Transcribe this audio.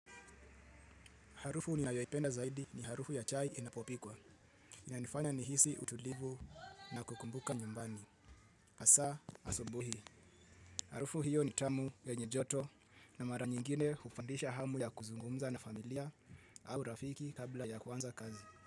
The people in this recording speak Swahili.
Harufu ninayoipenda zaidi ni harufu ya chai inapopikwa. Inanifanya nihisi utulivu na kukumbuka nyumbani hasa asubuhi. Harufu hiyo ni tamu yenye joto na mara nyingine hupandisha hamu ya kuzungumza na familia au rafiki kabla ya kuanza kazi.